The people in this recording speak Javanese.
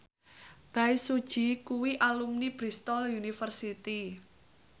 Bae Su Ji kuwi alumni Bristol university